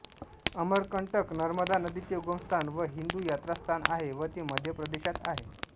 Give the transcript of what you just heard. अमरकंटक नर्मदा नदीचे उगमस्थान व हिंदू यात्रास्थान आहे व ते मध्यप्रदेशात आहे